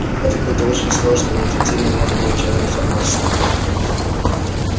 это какой-то очень сложный и неэффективный метод получения информации